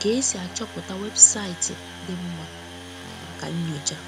ka esi achọpụta weebụsaịti di mma maka nnyocha.